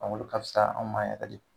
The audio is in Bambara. olu ka fisa anw ma yɛrɛ de.